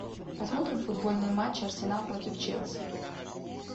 посмотрим футбольный матч арсенал против челси